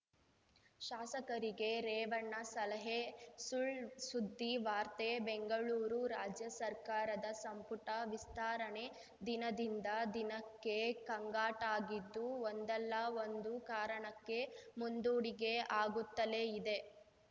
ಶಾಸಕರಿಗೆ ರೇವಣ್ಣ ಸಲಹೆ ಸುಳ್‌ಸುದ್ದಿ ವಾರ್ತೆ ಬೆಂಗಳೂರು ರಾಜ್ಯ ಸರ್ಕಾರದ ಸಂಪುಟ ವಿಸ್ತಾರಣೆ ದಿನದಿಂದ ದಿನಕ್ಕೆ ಕಂಗ್ಗಾಟಾಗಿದ್ದು ಒಂದಲ್ಲಾ ಒಂದು ಕಾರಣಕ್ಕೆ ಮುಂದೂಡಿಕೆ ಆಗುತ್ತಲೇ ಇದೆ